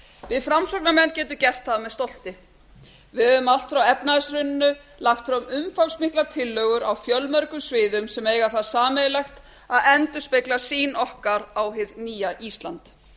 við framsóknarmenn getum gert það með stolti við höfum allt frá efnahagshruninu lagt fram umfangsmiklar tillögur á fjölmörgum sviðum sem eiga það sameiginlegt að endurspegla sýn okkar á hið nýja ísland